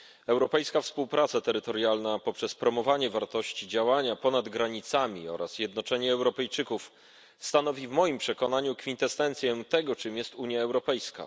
Europejska współpraca terytorialna poprzez promowanie wartości działania ponad granicami oraz jednoczenie Europejczyków stanowi w moim przekonaniu kwintesencję tego, czym jest Unia Europejska.